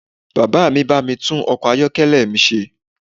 Bàbá mi bá mi tún ọkọ̀ ayọ́kẹ́lẹ̀ mi ṣe